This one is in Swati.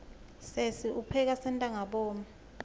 sesi upheka sentangabomu